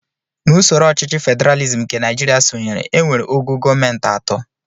N'usoro ọchịchị federalizim nke Naijiria sonyere, e nwere ogo gọọmenti atọ